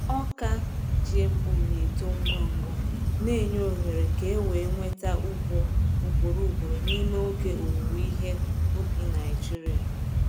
Ọka GMO na-eto ngwa ngwa, na-enye ohere ka e wee nweta ugbo ugboro ugboro n’ime oge owuwe ihe ubi Naijiria.